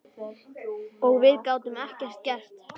Og við gátum ekkert gert.